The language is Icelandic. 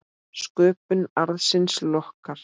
Sköpun arðsins lokkar.